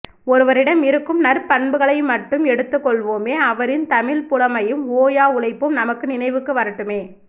ஒருவரிடம் இருக்கும் நற்பண்புகளைமட்டும் எடுத்துக்கொள்வோமே அவரின் தமிழ் புலமையும் ஓயா உழைப்பும் நமக்கு நினைவுக்கு வரட்டுமே